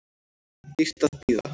Dýrt að bíða